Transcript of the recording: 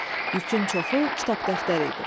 Yükün çoxu kitab dəftər idi.